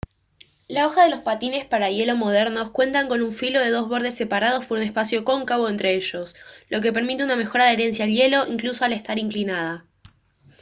la hoja de los patines para hielo modernos cuenta con un filo de dos bordes separados por un espacio cóncavo entre ellos lo que permite una mejor adherencia al hielo incluso al estar inclinada